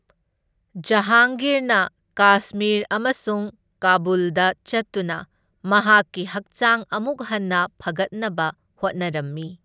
ꯖꯍꯥꯡꯒꯤꯔꯅ ꯀꯥꯁꯃꯤꯔ ꯑꯃꯁꯨꯡ ꯀꯥꯕꯨꯜꯗ ꯆꯠꯇꯨꯅ ꯃꯍꯥꯛꯀꯤ ꯍꯛꯆꯥꯡ ꯑꯃꯨꯛ ꯍꯟꯅ ꯐꯒꯠꯅꯕ ꯍꯣꯠꯅꯔꯝꯃꯤ꯫